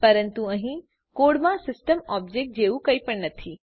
પરંતુ અહીં કોડમાં સીસ્ટમ ઓબ્જેક્ટ જેવું કંઈપણ નથી